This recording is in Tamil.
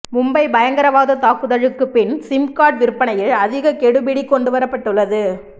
மும்பை பயங்கரவாத தாக்குதலுக்கு பின் சிம் கார்டு விற்பனையில் அதிக கெடுபிடி கொண்டு வரப்பட்டுள்ளது